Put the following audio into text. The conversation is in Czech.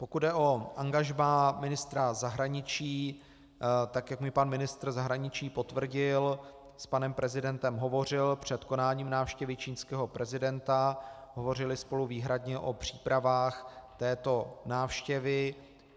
Pokud jde o angažmá ministra zahraničí, tak jak mi pan ministr zahraničí potvrdil, s panem prezidentem hovořil před konáním návštěvy čínského prezidenta, hovořili spolu výhradně o přípravách této návštěvy.